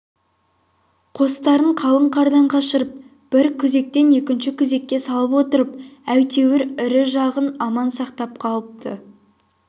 қостарын қалын қардан қашырып бір күзектен екінші күзекке салып отырып әйтеуір ірі жағын аман сақтап қалыпты